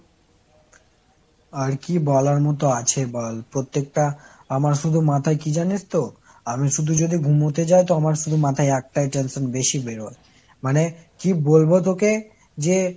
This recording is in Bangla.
আর কি বলার মতো আছে বল, প্রত্যেকটা আমার শুধু মাথায় কি জানিস তো ? আমি শুধু যদি ঘুমোতে যাই তো আমার শুধু মাথায় একটা ই tension বেশি বেরোয়। মানে কি বলবো তোকে যে